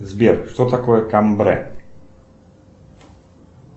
сбер что такое камбре